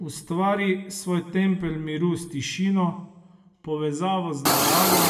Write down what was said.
Ustvari svoj tempelj miru s tišino, povezavo z naravo,